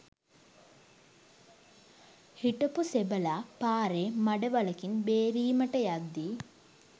හිටපු සෙබළා පාරේ මඩ වළකින් බේරීමට යද්දී